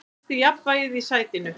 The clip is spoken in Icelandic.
Hann missti jafnvægið í sætinu.